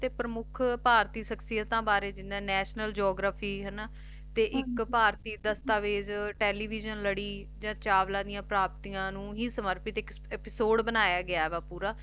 ਪ੍ਰਮੁੱਖ ਭਾਰਤੀ ਸ਼ਖਸੀਅਤਾ ਵਾਰੇ ਜਿੰਨਾ National Geography ਤੇ ਇਕ ਭਾਰਤੀ ਦਸਤਾਵੇਜ Television ਲੜੀ ਚਾਵਲਾ ਦੀਆਂ ਪ੍ਰਾਪਤੀਆਂ ਨੂੰ ਹੀ ਸਮਰਪਿਤ Episode ਬਣਾਇਆ ਗਿਆ ਏ ਪੂਰਾ